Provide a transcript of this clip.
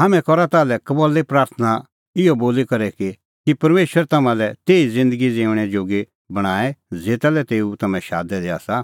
हाम्हैं करा तम्हां लै कबल्ली प्राथणां इहअ बोली कि परमेशर तम्हां तेही ज़िन्दगी ज़िऊंणै जोगी बणांए ज़ेता लै तेऊ तम्हैं शादै दै आसा